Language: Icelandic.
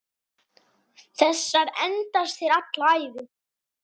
Þessar endast þér alla ævi.